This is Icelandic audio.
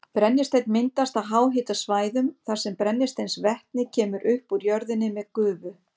Brennisteinn myndast á háhitasvæðum þar sem brennisteinsvetni kemur upp úr jörðinni með gufu.